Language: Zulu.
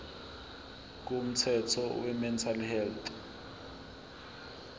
komthetho wemental health